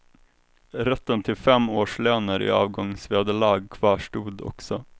Rätten till fem årslöner i avgångsvederlag kvarstod också.